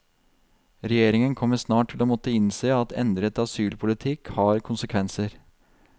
Regjeringen kommer snart til å måtte innse at endret asylpolitikk har konsekvenser.